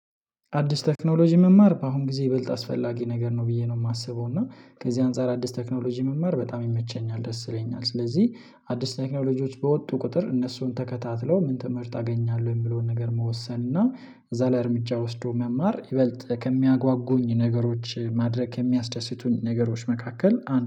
አዲስ ቴክኖሎጂ መማር በአሁን ጊዜ ይበልጥ አስፈላጊ ነገር ነው ብዬ ነው የማስበው። እና ከዚህ አንፃር አዲስ ቴክኖሎጂ መማር በጣም ይመቸኛል ደስ ይለኛል። ስለዚህ አዲስ ቴክኖሎጂወች በወጡ ቁጥር እነሱን ተከታትሎ ምን ትምህርት አገኛለሁ የሚለውን ነገር መወሰን እና እዛ ላይ እርምጃ ወስዶ መማር ይበልጥ ከሚያጓጉኝ ነገሮች ማድረግ ከሚያስደስቱኝ ነገሮች መካከል አንዱ